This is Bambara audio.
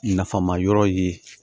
Nafama yɔrɔ ye